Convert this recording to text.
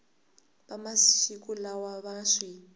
va masiku lawa va swi